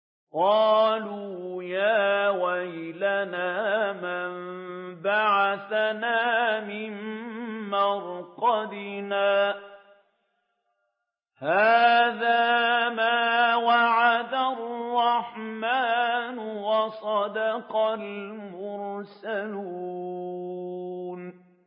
قَالُوا يَا وَيْلَنَا مَن بَعَثَنَا مِن مَّرْقَدِنَا ۜۗ هَٰذَا مَا وَعَدَ الرَّحْمَٰنُ وَصَدَقَ الْمُرْسَلُونَ